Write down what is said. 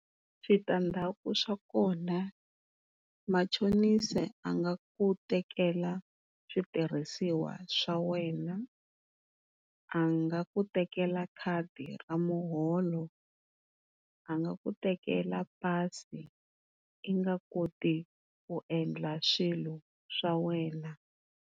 Switandzhaku swa kona machonisi a nga ku tekela switirhisiwa swa wena a nga ku tekela khadi ra muholo, a nga ku tekela pasi u nga koti ku endla swilo swa wena.